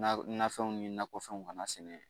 Nafɛnw ni nakɔfɛnw kana sɛnɛ